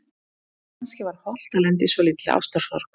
Kannski var hollt að lenda í svolítilli ástarsorg.